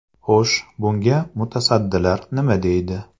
Xo‘sh, bunga mutasaddilar nima deydi?